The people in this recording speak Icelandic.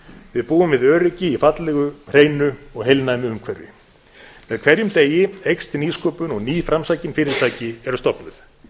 við búum við öryggi í fallegu hreinu og heilnæmu umhverfi með hverjum degi eykst nýsköpun og ný framsækin fyrirtæki eru stofnuð